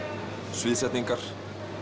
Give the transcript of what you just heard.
sviðsetningar